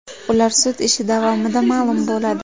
Ular sud ishi davomida ma’lum bo‘ladi.